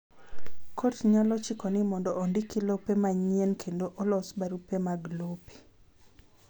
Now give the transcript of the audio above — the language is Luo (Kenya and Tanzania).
Kot nyalo chiko ni mondo ondiki lope manyien kendo olos barupe mag lope.